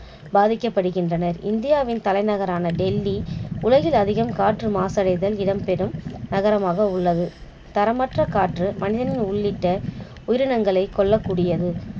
பாதிக்கபடுகின்றனர் இந்தியாவின் தலைநகரான டெல்லி உலகில் அதிகம் காற்று மாடசைதல் இடம் பெறும் நகரமாக உள்ளது. தரமற்ற காற்று மனிதர்கள் உள்ளிட்ட உயிரிங்களை கொல்லக் கூடியது